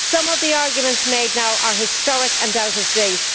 Some of the arguments made now are historic and out of date